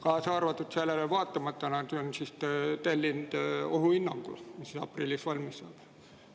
Sellele vaatamata nad on tellinud ohuhinnangu, mis aprillis valmis saab.